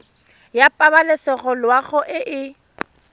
ya pabalesego loago e e